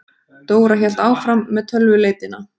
Dóra hélt áfram með tölvuleitina.